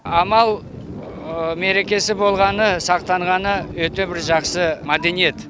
амал мерекесі болғаны сақтанғаны өте бір жақсы мәдениет